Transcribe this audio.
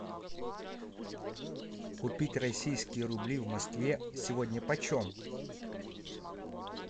купить российские рубли в москве сегодня почем